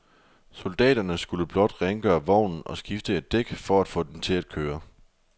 Soldaterne skulle blot rengøre vognen og skifte et dæk for at få den til at køre.